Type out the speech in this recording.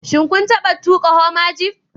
Shin kun taba tuka Hummer jeep